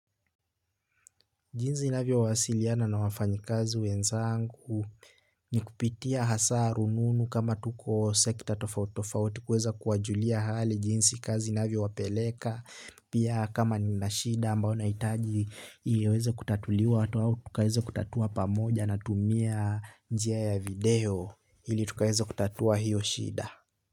Jinzi navyo wasiliana na wafanyi kazi wenzangu. Ni kupitia hasa rununu kama tuko sekta tofautofauti kuweza kuwajulia hali jinsi kazi inavyo wapeleka. Pia kama nina shida ambao naitaji iweza kutatuliwa hatu au tukaweza kutatua pamoja na tumia njia ya video hili tukaweza kutatua hiyo shida.